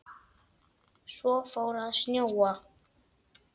Svo fór að snjóa.